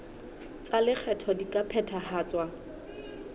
tsa lekgetho di ka phethahatswa